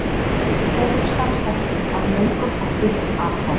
Þeir eru samsettir af löngum og stuttum atkvæðum.